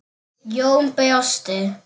Jón brosti.